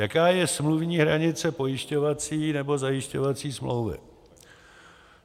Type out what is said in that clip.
Jaká je smluvní hranice pojišťovací nebo zajišťovací smlouvy?